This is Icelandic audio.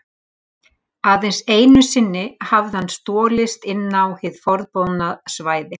Aðeins einu sinni hafði hann stolist inn á hið forboðna svæði.